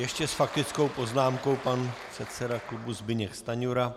Ještě s faktickou poznámkou pan předseda klubu Zbyněk Stanjura.